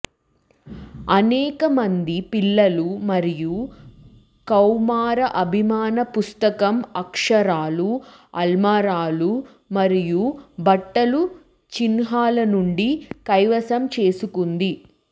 అనేక మంది పిల్లలు మరియు కౌమార అభిమాన పుస్తకం అక్షరాలు అల్మారాలు మరియు బట్టలు చిహ్నాలు నుండి కైవసం చేసుకుంది